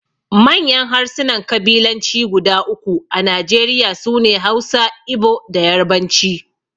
Manyan harsunan kabilanci guda uku a Najeriya su ne Hausa, Igbo, da Yarbanci.